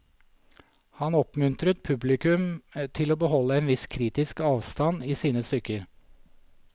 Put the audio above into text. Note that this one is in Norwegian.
Han oppmuntret publikum til å beholde en viss kritisk avstand i sine stykker.